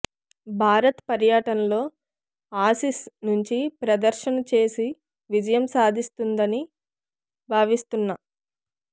భారత్ పర్యటనలో ఆసీస్ మంచి ప్రదర్శన చేసి విజయం సాధిస్తుందని భావిస్తున్నా